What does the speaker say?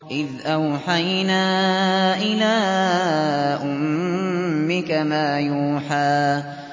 إِذْ أَوْحَيْنَا إِلَىٰ أُمِّكَ مَا يُوحَىٰ